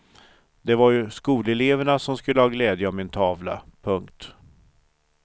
Det var ju skoleleverna som skulle ha glädje av min tavla. punkt